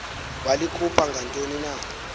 walikhupha ngantoni na